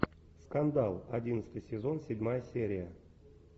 скандал одиннадцатый сезон седьмая серия